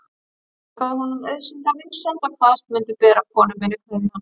Ég þakkaði honum auðsýnda vinsemd og kvaðst mundu bera konu minni kveðju hans.